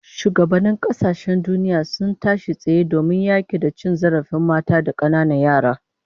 Shugabannin kasashen duniya sun tashi tsaye domin yaki da cin zarafin mata da kananan yara